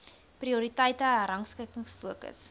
prioriteite herrangskik fokus